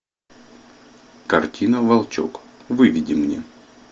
картина волчок выведи мне